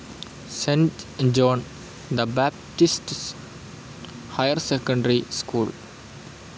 cent John the Baptist's higher secondary school